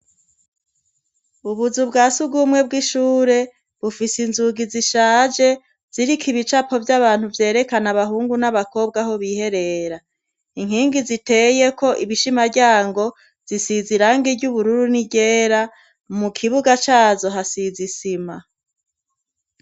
Ubuzu bwa sugumwe bw'ishure bufise inzugi zishaje ziriko ibicapo vy'abantu vyerekana abahungu n'abakobwa aho biherera. Inkingi ziteyeko ibishimaryango zisize irangi ry'ubururu ni ryera, mu kibuga caho hasize isima.